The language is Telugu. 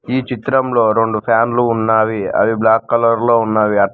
ఈ చిత్రంలో రెండు ఫ్యాన్లు ఉన్నావి అవి బ్లాక్ కలర్ లో ఉన్నవి అట్ల్--